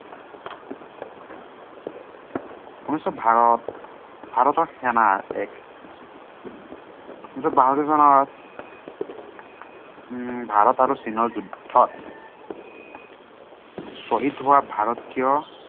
উনৈচ শ ভাৰতীয় সেনাৰ এক উনৈচ শ বাসত্তৰ চনত উম ভাৰত আৰু চীনৰ যুদ্ধত শ্বহীদ হোৱা ভাৰতীয়